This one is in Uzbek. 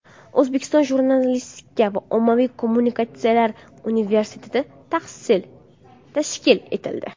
O‘zbekiston jurnalistika va ommaviy kommunikatsiyalar universiteti tashkil etildi.